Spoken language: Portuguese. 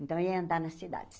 Então, eu ia andar na cidade.